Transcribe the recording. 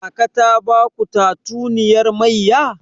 Kaka ta baku tatuniyar mayya?